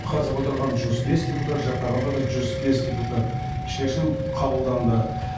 қатысып отырған жүз бес депутат жақтағандар да жүз бес депутат шешім қабылданды